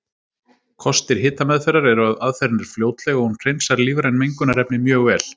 Kostir hitameðferðar eru að aðferðin er fljótleg og hún hreinsar lífræn mengunarefni mjög vel.